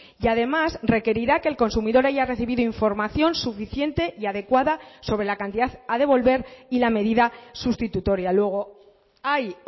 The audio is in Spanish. y además requerirá que el consumidor haya recibido información suficiente y adecuada sobre la cantidad a devolver y la medida sustitutoria luego hay